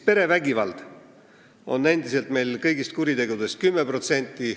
Perevägivald moodustab meil kõigist kuritegudest endiselt 10%.